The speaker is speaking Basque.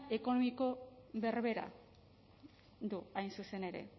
ekonomiko berbera du hain zuzen ere